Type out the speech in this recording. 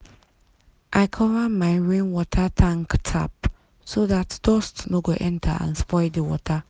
i cover my rainwater tank tap so dat dust no go enter and spoil the water.